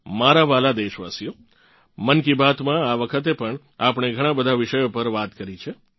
મારાં વ્હાલા દેશવાસીઓ મન કી બાત માં આ વખતે પણ આપણે ઘણાં બધાં વિષયો પર વાત કરી છે